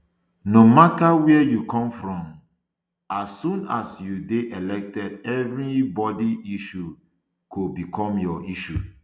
no matter wia you come from um as soon as you dey elected evri um body issues go become your issue